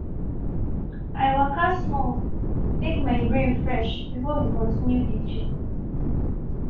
i waka small make my brain fresh before we continue di gist.